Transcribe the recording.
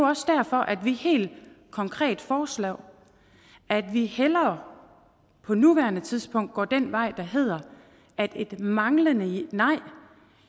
også derfor vi helt konkret foreslår at vi hellere på nuværende tidspunkt går den vej der hedder at et manglende nej